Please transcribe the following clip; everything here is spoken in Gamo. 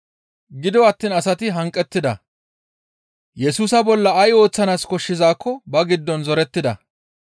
Gido attiin asati hanqettida; Yesusa bolla ay ooththanaas koshshizaakko ba giddon zorettida.